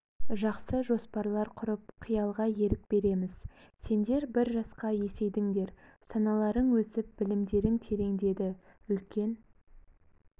жақсы жоспарлар құрып қиялға ерік береміз сендер бір жасқа есейдіңдер саналарың өсіп білімдерің тереңдеді үлкен